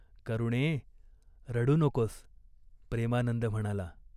"करुणे, रडू नकोस." प्रेमानंद म्हणाला.